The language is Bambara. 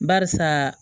Barisa